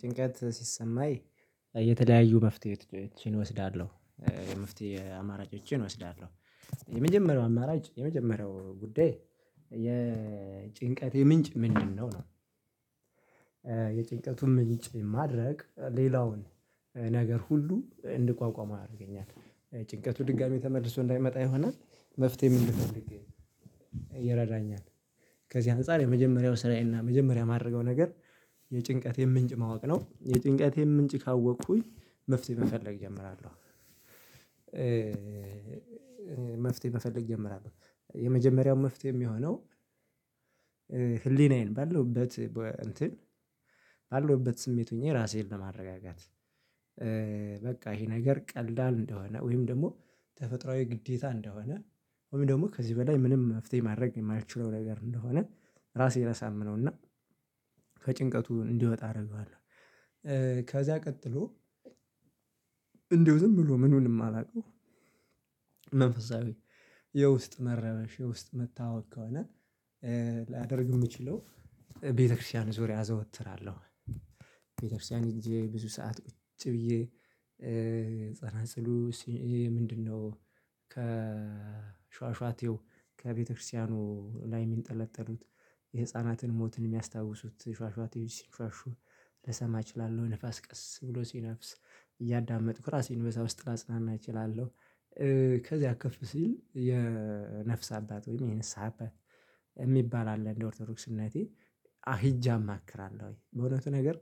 ጭንቀት ሲሰማኝ የተለያዩ መፍትሄዎችን እወስዳለሁ የመፍትሄ አማራጮችን እወስዳለሁ። የመጀመሪያው አማራጭ የመጀመሪያው ጉዳይ የጭንቀት የምንጭ ምንድነው ነው? የጭንቀቱን ምንጭ ማድረቅ ሌላውን ነገር ሁሉ እንድቋቋመው ያደርገኛል። ጭንቀቱ ድጋሚ ተመልሶ እንዳይመጣ ይሆናል መፍትሄ ምን ልፈልግ? ይረዳኛል። ከዚህ አንፃር የመጀመሪያው ስራዬና የመጀመሪያ የማደርገው ነገር። የጭንቀት የምንጭ ማወቅ ነው የጥንቃቴን ምንጭ ካወቅኩኝ መፍትሄ በፈለግ እጀምራለሁ። መፍትሄ መፈለግ እጀምራለሁ የመጀመሪያው መፍትሄ የሚሆነው። ህሊናዬን ባለውበት እንትን ባለውበት ስሜት ሆኜ ራሴን ለማረጋጋት። በቃ ይሄ ነገር ቀልዳ እንደሆነ ወይም ደግሞ ተፈጥሮአዊ ግዴታ እንደሆነ። ወይም ደግሞ ከዚህ በላይ ምንም መፍትሄ ማድረግ የማልችለው ነገር እንደሆነ። ራሴን አሳምነውና ከጭንቀቱ እንዲወጣ አደርገዋለሁ። ከዛ ቀጥሎ እንደው ዝም ብሎ ምኑንም አላውቀው። መንፈሳዊ የውስጥ መረበሽ የውስጥ መታወክ ከሆነ። ላያደርግ የምችለው ቤተክርስቲያን ዙሪያ አዘወትራለሁ። ቤተክርስቲያን ሄጄ ብዙ ሰዓት ቁጭ ብዬ ፀና ፅሉ ምንድነው? ከሻሻቴው ከቤተክርስቲያኑ ላይ የሚጠለጠሉት የህፃናትን ሞትን የሚያስታውሱት ሽዋሽዋት ሲንሽዋሹ ልሰማ እችላለሁ። ንፋስ ቀስ ብሎ ሲነፍስ እያዳመጡ ከራሴን በዛ ውስጥ ላጽናና እችላለሁ። ከዚያ አክፍ ሲል የነፍስ አባት ወይም የንስሃ አባት የሚባል አለ እንደ ኦርቶዶክስነቴ። አ ሂጃ አክራለሁ ወይ በእውነቱ ነገር።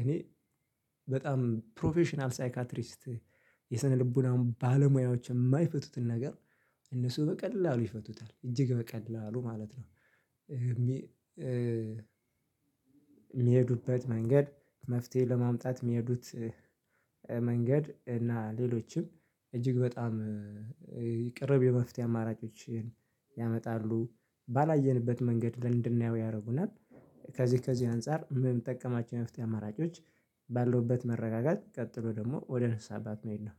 እኔ በጣም ፕሮፌሽናል ሳይካትሪስት የሰነልቡን ባለሙያዎች የማይፈቱትን ነገር እነሱ በቀላሉ ይፈቱታል እጅግ በቀላሉ ማለት ነው። የሚሄዱበት መንገድ መፍትሄ ለማምጣት የሚሄዱት። መንገድ እና ሌሎችም እጅግ በጣም ቅርብ የመፍትሄ አማራጮችን። ያመጣሉ ባላየንበት መንገድ ለእንድናየው ያደርጉናል። ከዚህ ከዚህ አንፃር ምን የምጠቀማቸው የመፍትሄ አማራጮች? ባለውበት መረጋጋት ቀጥሎ ደግሞ ወደ ንስሃ አባት መሆድ ነው